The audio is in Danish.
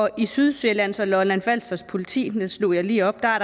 i sydsjællands og lolland falsters politi det slog jeg lige op er